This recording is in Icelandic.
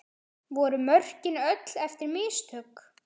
Voru mörkin öll eftir mistök?